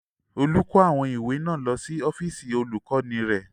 Olú kó àwọn ìwé náà lọ sí ọ́fíísì Olùkọ́ní rẹ̀.